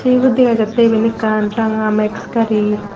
ebot degajattey even ekkan ranga max gari.